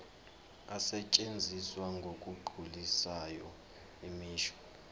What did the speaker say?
asetshenziswa ngokugculisayo imisho